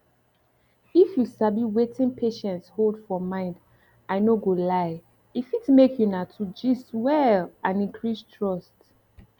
if you sabi wetin patients hold for mind i no go lie e fit make una two gist well and increase trust